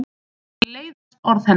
Mér leiðast orð hennar.